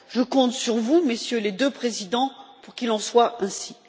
Je compte sur vous, Messieurs les deux présidents, pour qu'il en soit ainsi.